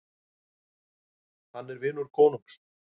Hann er vinur konungs.